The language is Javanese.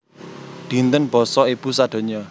Dinten Basa Ibu sadonya